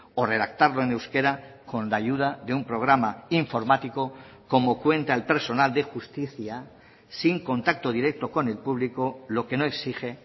o redactarlo en euskera con la ayuda de un programa informático como cuenta el personal de justicia sin contacto directo con el público lo que no exige